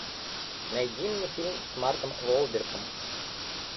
найди мне фильм с марком уолбергом